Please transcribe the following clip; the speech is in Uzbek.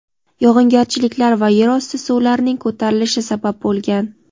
yog‘ingarchiliklar va yer osti suvlarining ko‘tarilishi) sabab bo‘lgan.